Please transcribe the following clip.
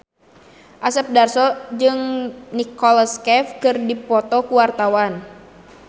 Asep Darso jeung Nicholas Cafe keur dipoto ku wartawan